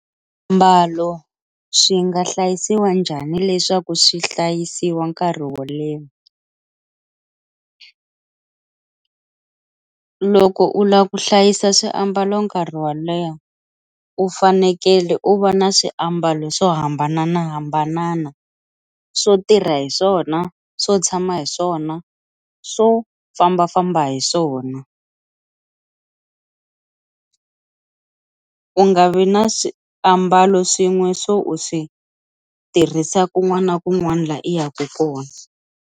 Swiambalo swi nga hlayisiwa njhani leswaku swi hlayisiwa nkarhi wo leha, loko u lava ku hlayisa swiambalo nkarhi wo leha u fanekele u va na swiambalo swo hambananahambanana swo tirha hi swona swo tshama hi swona swo fambafamba hi swona u nga vi na swiambalo swin'we swo u swi tirhisa kun'wana na kun'wana laha i yaku kona.